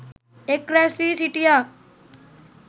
එක් රැස් වී සිිටියා.